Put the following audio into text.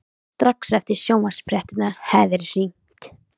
Strax eftir sjónvarpsfréttirnar hafði verið hringt.